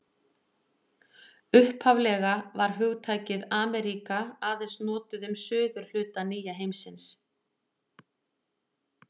Upphaflega var hugtakið Ameríka aðeins notað um suðurhluta nýja heimsins.